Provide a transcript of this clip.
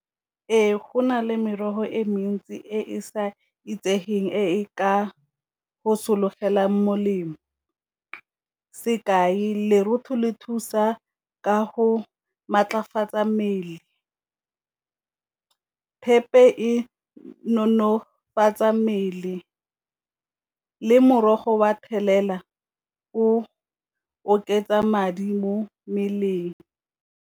Ee, go na le merogo e mentsi e e sa itsegeng e ka go sologela molemo, sekai lerotho le thusa ka go maatlafatsa mmele. Thepe e nonofatsa mmele le morogo wa thelela o oketsa madi mo mmeleng.